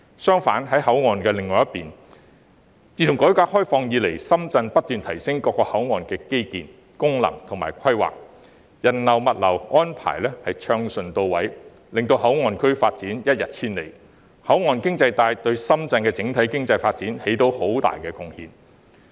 相反，在口岸的另一邊，自改革開放以來，深圳不斷提升各口岸的基建、功能及規劃，人流物流安排順暢到位，令口岸區發展一日千里，口岸經濟帶對深圳的整體經濟發展帶來很大的貢獻。